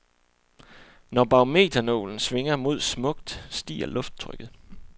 Når barometernålen svinger mod smukt, stiger lufttrykket.